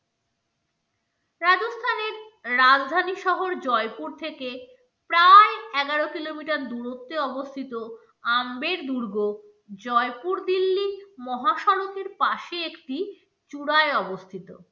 রাজধানী শহর জয়পুর থেকে প্রায় এগারো kilometer দূরত্বে অবস্থিত আম্বের দুর্গ জয়পুর দিল্লী, মহাসড়কের পাশে একটি চূড়ায় অবস্থিত।